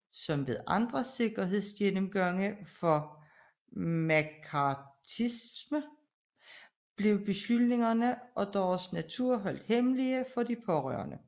Som ved andre sikkerhedsgennemgange for mccarthyisme blev beskyldninger og deres natur holdt hemmelige for de pårørte